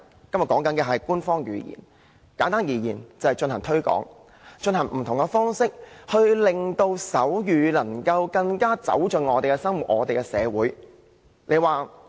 今天討論的是官方語言，簡單而言，便是要進行推廣，以不同的方式令手語能夠更走進我們的生活、我們的社會。